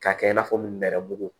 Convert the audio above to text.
K'a kɛ i n'a fɔ nɛrɛmugu